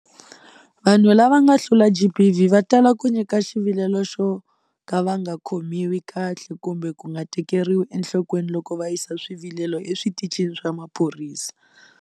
Vanhu lava nga hlula GBV va tala ku nyika xivilelo xo ka va nga khomiwi kahle kumbe ku nga tekeriwi enhlokweni loko va yisa swivilelo eswitichini swa maphorisa.